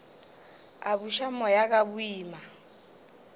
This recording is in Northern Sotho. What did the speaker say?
a buša moya ka boima